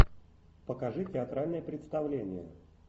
покажи театральное представление